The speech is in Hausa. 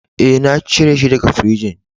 E,na cire shi daga firijin.